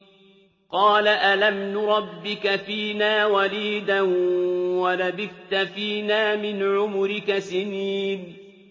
قَالَ أَلَمْ نُرَبِّكَ فِينَا وَلِيدًا وَلَبِثْتَ فِينَا مِنْ عُمُرِكَ سِنِينَ